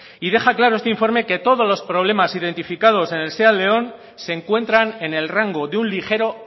y deja claro este informe que todos los problemas identificados en el seat léon se encuentran en el rango de un ligero